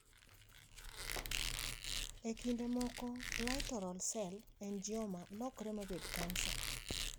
E kinde moko Littoral cell angioma lokre mabed kansa.